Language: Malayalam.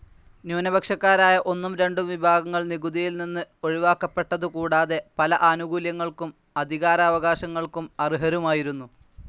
ന്യൂനപക്ഷക്കാരായ ഒന്നും രണ്ടും വിഭാഗങ്ങൾ നികുതിയിൽ നിന്ന് ഒഴിവാക്കപ്പെട്ടതു കൂടാതെ പല ആനുകൂല്യങ്ങൾക്കും അധികാരാവകാശങ്ങൾക്കും അർഹരുമായിരുന്നു.